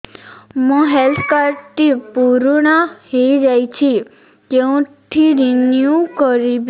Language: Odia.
ମୋ ହେଲ୍ଥ କାର୍ଡ ଟି ପୁରୁଣା ହେଇଯାଇଛି କେଉଁଠି ରିନିଉ କରିବି